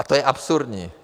A to je absurdní.